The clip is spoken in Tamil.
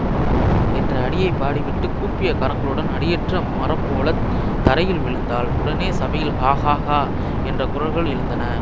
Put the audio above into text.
என்ற அடியை பாடிவிட்டுக் கூப்பிய கரங்களுடன் அடியற்ற மரம்போலத் தரையில் விழுந்தாள் உடனே சபையில் ஹா ஹா ஹா என்ற குரல்கள் எழுந்தன